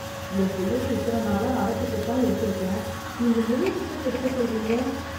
எம்புள்ளைக்கு இத்தன நாளா அரை டிக்கெட்தான் எடுத்துருக்கேன்... நீங்க முழு டிக்கெட் எடுக்க சொல்றீங்க...